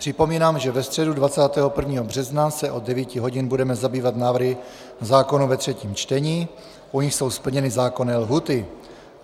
Připomínám, že ve středu 21. března se od 9 hodin budeme zabývat návrhy zákonů ve třetím čtení, u nichž jsou splněny zákonné lhůty.